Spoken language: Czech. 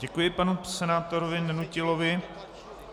Děkuji panu senátorovi Nenutilovi.